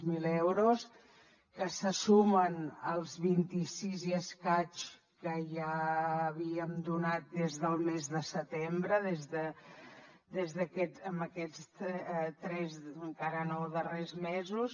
zero euros que se sumen als vint sis i escaig que ja havíem donat des del mes de setembre des d’aquest en els tres encara no darrers mesos